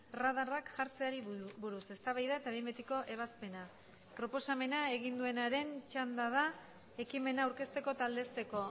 radarrak jartzeari buruz eztabaida eta behin betiko ebazpena proposamena egin duenaren txanda da ekimena aurkezteko eta aldezteko